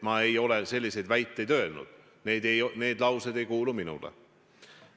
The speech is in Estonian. Ma ei ole selliseid väiteid öelnud, need laused ei kuulu minule.